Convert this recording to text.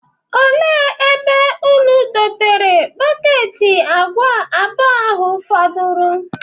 Ele ebe ụnụ dotere bọketi agwa abụọ ahụ fọdụrụ?